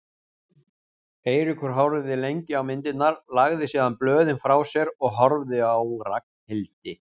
Eiríkur horfði lengi á myndirnar, lagði síðan blöðin frá sér og horfði á Ragnhildi.